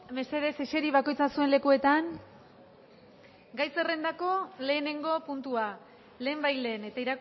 mesedez eseri bakoitza zuen lekuetan gai zerrendako lehenengo puntua lehenbailehen eta